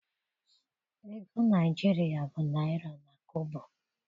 Ego Naịjirịa bụ naịra na kobo.